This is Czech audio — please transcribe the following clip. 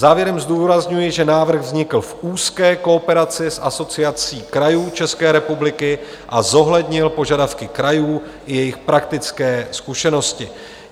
Závěrem zdůrazňuji, že návrh vznikl v úzké kooperaci s Asociací krajů České republiky a zohlednil požadavky krajů i jejich praktické zkušenosti.